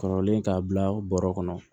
Kɔrɔlen k'a bila bɔrɔ kɔnɔ